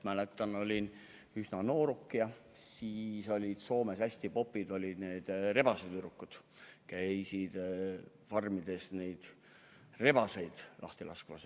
Ma olin üsna noor, kui Soomes olid hästi popid rebasetüdrukud, kes käisid farmides rebaseid lahti laskmas.